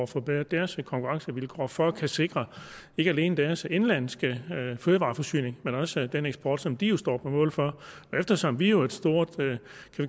forbedret deres konkurrencevilkår for at kunne sikre ikke alene deres indenlandske fødevareforsyning men også den eksport som de jo står på mål for og eftersom vi jo er et stort